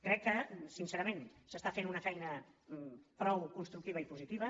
crec que sincerament s’està fent una feina prou constructiva i positiva